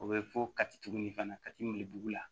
O bɛ fɔ kati tugu ni fana kati miliyɔn la